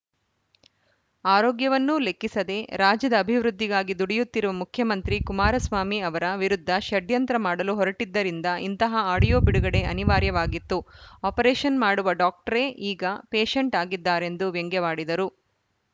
ಆರೋಗ್ಯವನ್ನೂ ಲೆಕ್ಕಿಸದೆ ರಾಜ್ಯದ ಅಭಿವೃದ್ಧಿಗಾಗಿ ದುಡಿಯುತ್ತಿರುವ ಮುಖ್ಯಮಂತ್ರಿ ಕುಮರಸ್ವಾಮಿ ಅವರ ವಿರುದ್ಧ ಷಡ್ಯಂತ್ರ ಮಾಡಲು ಹೊರಟಿದ್ದರಿಂದ ಇಂತಹ ಆಡಿಯೋ ಬಿಡುಗಡೆ ಅನಿವಾರ್ಯವಾಗಿತ್ತು ಆಪರೇಶನ್‌ ಮಾಡುವ ಡಾಕ್ಟರೇ ಈಗ ಪೇಷೇಂಟ್‌ ಆಗಿದ್ದಾರೆಂದು ವ್ಯಂಗ್ಯವಾಡಿದರು